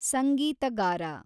ಸಂಗೀತಗಾರ